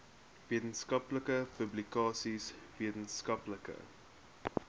wetenskaplike publikasies wetenskaplike